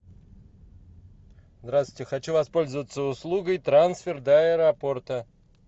здравствуйте хочу воспользоваться услугой трансфер до аэропорта